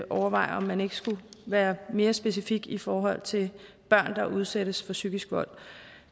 overveje om man ikke skulle være mere specifik i forhold til børn der udsættes for psykisk vold